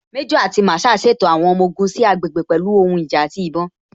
Méjò àti Masaa ṣètò àwọn ọmọ ogun sí àgbègbè pẹ̀lú àwọn ohun ìjà àti ìbọn.